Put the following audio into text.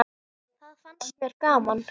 Það fannst mér gaman!